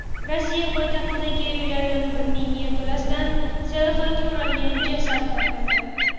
Rossiya poytaxtidagi uylardan birining yerto‘lasidan sellofanga o‘ralgan jasad topildi.